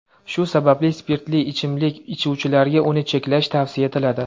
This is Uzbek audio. Shu sababli spirtli ichimlik ichuvchilarga uni cheklash tavsiya etiladi.